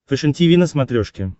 фэшен тиви на смотрешке